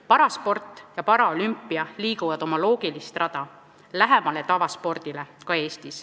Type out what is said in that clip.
Parasport ja paraolümpia liiguvad ka Eestis oma loogilist rada pidi, tavaspordile lähemale.